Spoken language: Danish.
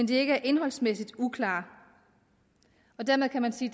de ikke indholdsmæssigt er uklare og dermed kan man sige